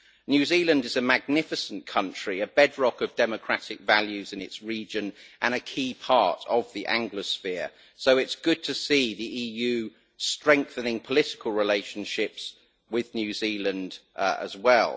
New Zealand is a magnificent country, a bedrock of democratic values in its region and a key part of the Anglosphere, so it is good to see the EU strengthening political relationships with New Zealand as well.